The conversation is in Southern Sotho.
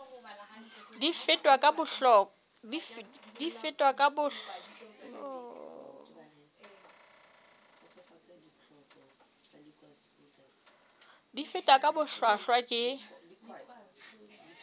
di fetwa ka bohlwahlwa ke